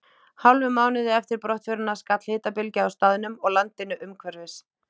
Hálfum mánuði eftir brottförina skall hitabylgja á staðnum og landinu umhverfis.